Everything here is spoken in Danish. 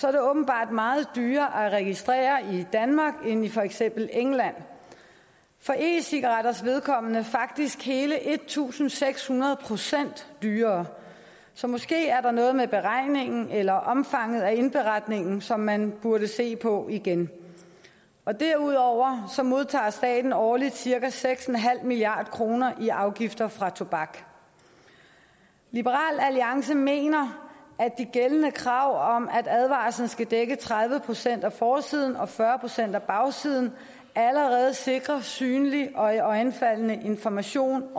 er det åbenbart meget dyrere at registrere i danmark end i for eksempel england for e cigaretters vedkommende faktisk hele en tusind seks hundrede procent dyrere så måske er der noget med beregningen eller omfanget af indberetningen som man burde se på igen derudover modtager staten årligt cirka seks en halv milliard kroner i afgifter fra tobak liberal alliance mener at de gældende krav om at advarslen skal dække tredive procent af forsiden og fyrre procent af bagsiden allerede sikrer synlig og iøjnefaldende information